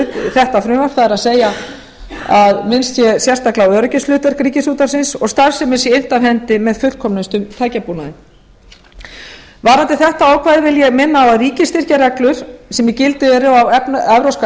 þetta frumvarp það er að minnst sé sérstaklega á öryggishlutverk ríkisútvarpsins og starfsemin sé innt af hendi með sem fullkomnustum tækjabúnaði varðandi þetta ákvæði vil ég minna á að ríkisstyrkjareglur sem í gildi eru á evrópska